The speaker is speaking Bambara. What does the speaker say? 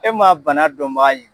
E ma bana dɔn baa